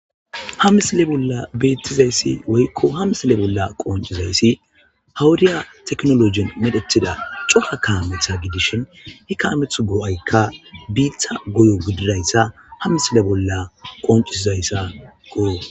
ha misile bolla beettizayssi woykko ha misile bolla qoncizayssi hawudiya teknolojin medhetida coka kaametha gidishin hi kaameth goo7aykka biitha goyo gididayssa ha misile bolla qoncizayssa goyo